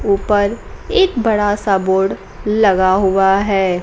ऊपर एक बड़ा सा बोर्ड लगा हुआ है।